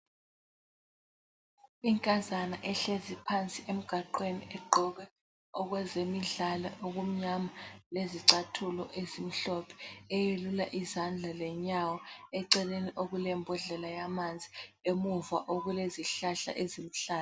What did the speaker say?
Inkazana ehlezi phansi emgwaqweni egqoke okwezemidlalo okumnyama lezicathulo ezimhlophe eyelula izandla lenyawo eceleni okulembodlela yamanzi, emuva okulezihlahla eziluhlaza.